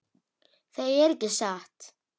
Það er ekki satt.